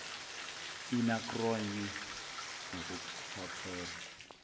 ina cronje ngokuthathela